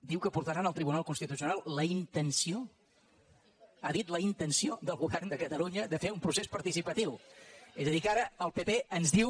diu que portaran al tribunal constitucional la intenció ha dit la intenció del govern de catalunya de fer un procés participatiu és a dir que ara el pp ens diu